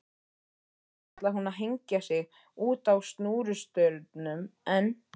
Einu sinni ætlaði hún að hengja sig útá snúrustaurnum en